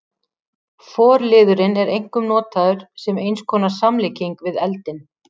Forliðurinn er einkum notaður sem eins konar samlíking við eldinn.